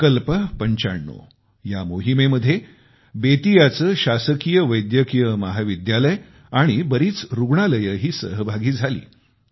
संकल्प 95च्या या मोहिमेमध्ये बेतियाचे शासकीय वैद्यकीय महाविद्यालय आणि बरीच रुग्णालयेही सहभागी झाली